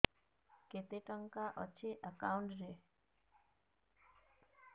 କେତେ ଟଙ୍କା ଅଛି ଏକାଉଣ୍ଟ୍ ରେ